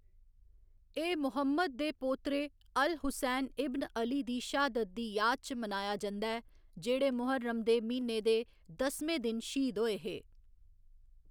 एह्‌‌ मुहम्मद दे पोतरे अल हुसैन इब्न अली दी श्हादत दी याद च मनाया जंदा ऐ, जेह्‌‌ड़े मुहर्रम दे म्हीने दे दसमें दिन श्हीद होए हे।